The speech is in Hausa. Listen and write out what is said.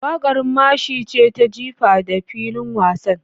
Waƙar mashi ce ta jifa da filin wasa.